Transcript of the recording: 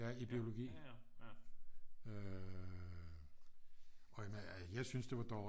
Ja i biologi øh og jeg syntes det var dårligt